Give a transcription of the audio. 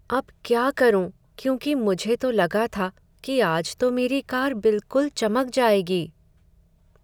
अब क्या करूं, क्योंकि मुझे तो लगा था कि आज तो मेरी कार बिलकुल चमक जाएगी।